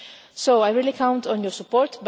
So I really count on your support.